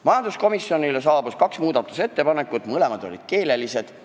Majanduskomisjonile saabus kaks muudatusettepanekut, mõlemad olid keelelised.